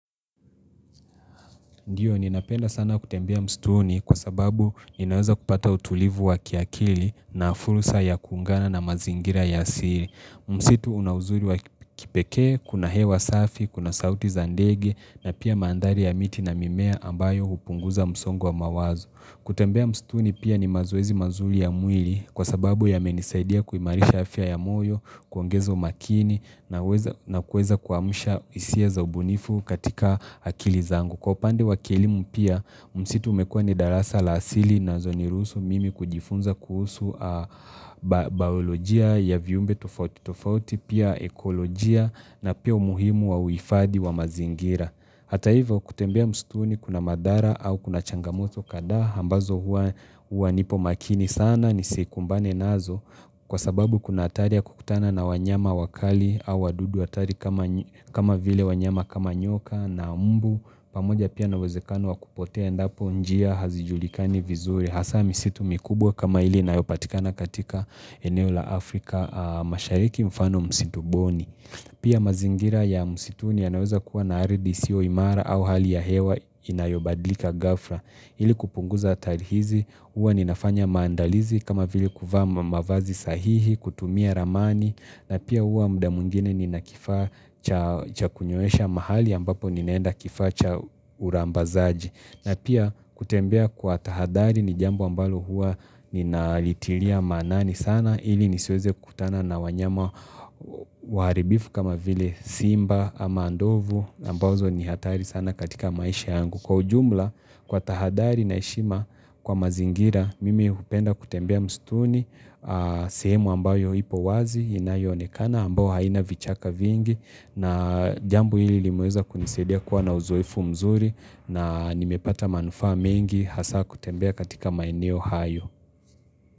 Ndiyo, ninapenda sana kutembea msituni kwa sababu ninaweza kupata utulivu wa kiakili na fursa ya kuungana na mazingira ya asili. Msitu una uzuri wa kipekee, kuna hewa safi, kuna sauti za ndegi na pia mandhari ya miti na mimea ambayo hupunguza msongwa wa mawazo. Kutembea msituni pia ni mazoezi mazuri ya mwili kwa sababu yamenisaidia kuimarisha afya ya moyo, kuongeza umakini na kuweza kuamsha hisia za ubunifu katika akili zangu. Kwa upande wa kilimu pia, msitu umekua ni darasa la asili nazoniruhusu mimi kujifunza kuhusu baolojia ya viumbe tofauti, tofauti pia ekolojia na pia umuhimu wa uhifadhii wa mazingira. Hata hivyo kutembea msituni kuna madhara au kuna changamoto kadhaa ambazo huwa nipo makini sana nisikumbane nazo kwa sababu kuna hatari ya kukutana na wanyama wakali au wadudu hatari kama vile wanyama kama nyoka na mbu pamoja pia na uwezekano wa kupotea endapo njia hazijulikani vizuri hasa misitu mikubwa kama ile inayopatikana katika eneo la Afrika mashariki mfano msitu boni. Pia mazingira ya msituni yanaweza kuwa na ardhi isiyo imara au hali ya hewa inayobadilika ghafla ili kupunguza hatari hizi huwa ninafanya maandalizi kama vile kuvaa mavazi sahihi kutumia ramani na pia huwa muda mwingine nina kifaa cha kunyoesha mahali ambapo ninaenda kifaa cha urambazaji na pia kutembea kwa tahadhari ni jambo ambalo huwa ninalitilia maanani sana ili nisieze kukutana na wanyama waharibifu kama vile Simba ama ndovu ambazo ni hatari sana katika maisha yangu. Kwa ujumla kwa tahadhari na heshima kwa mazingira mimi hupenda kutembea msituni sehemu ambayo ipo wazi inayoonekana ambayo haina vichaka vingi na jambo hili limeweza kunisaidia kuwa na uzoefu mzuri na nimepata manufaa mengi hasa kutembea katika maeneo hayo.